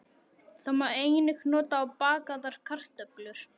Það má einnig nota á bakaðar kartöflur.